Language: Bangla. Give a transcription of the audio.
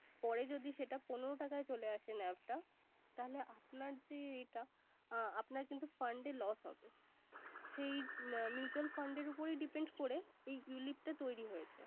পরে যদি সেটা পনেরো টাকায় চলে আসে NAV টা তাহলে আপনার যে এটা, আপনার কিন্তু fund এ loss হবে। সেই mutual fund এর উপরই Depend করেই এই ulip টা তৈরি হয়েছে